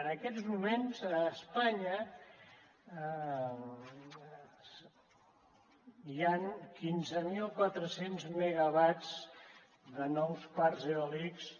en aquests moments a espanya hi han quinze mil quatre cents megawatts de nous parcs eòlics